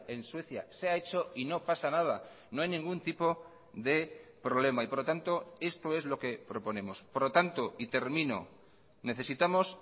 en suecia se ha hecho y no pasa nada no hay ningún tipo de problema y por lo tanto esto es lo que proponemos por lo tanto y termino necesitamos